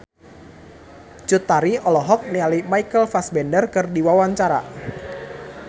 Cut Tari olohok ningali Michael Fassbender keur diwawancara